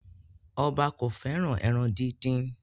Oba ko feran eran didin